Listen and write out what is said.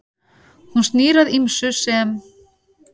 Hún snýr að ýmsu sem